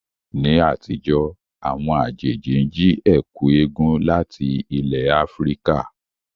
Ní àtijọ́, àwọn àjèjì ń jí ẹ̀kú égún láti ilẹ̀ Áfíríkà